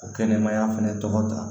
O kɛnɛmaya fɛnɛ tɔgɔ ta